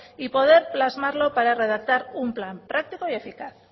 y poder plasmarlo para redactar un plan práctico y eficaz